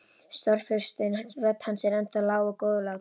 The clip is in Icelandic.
Stórfurstinn, rödd hans er ennþá lág og góðlátleg.